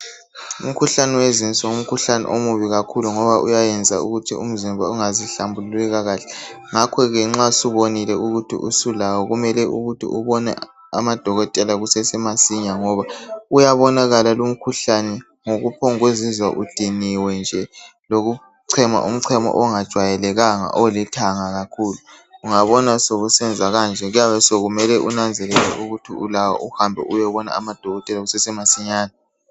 Umkhuhlane wezinso ngumkhuhlane omubi kakhulu ngoba uyayenza ukuthi umzimba ungazihlambululi kakahle .Ngakho ke nxa subonile ukuthi usulawo kumele ukuthi ubone amadokotela kusesemasinya. Ngoba uyabonakala lumkhuhlane ngokuphombu kuzizwa udiniwe nje lokuchema umchemo ongajwayelekanga olithanga kakhulu .Ungabona sokusenza kanje kuyabe kumele unanzelele ukuthi ulawo uhambe uyebona amadokotela kusesemasinyane .